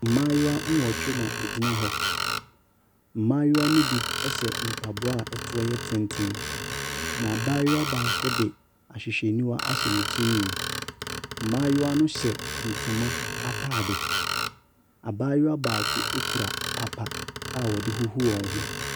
Mmaayewa nwɔtwe na ɛgyina hɔ, mmayewa ne bi hyɛ mpaboa a toɔ yɛ tenten, na abaayewa baako de ahwehwɛniwa ahyɛ ne tirihwi mu, mmaayewa no hyɛ ntoma ataade, abaayewa baako kura papa a wɔde huhu wɔn ho.